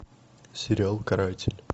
сериал каратель